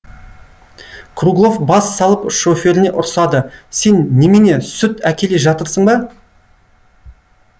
круглов бас салып шоферіне ұрсады сен немене сүт әкеле жатырсың ба